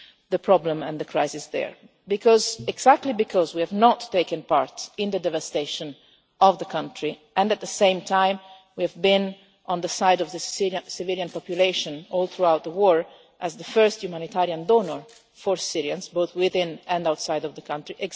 the problem and the crisis there, exactly because we have not taken part in the devastation of the country, and at the same time we have been on the side of the civilian population, all through the war, as the first humanitarian donor for Syrians both within and outside the country.